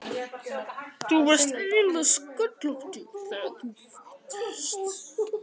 Þú varst eiginlega sköllóttur þegar þú fæddist.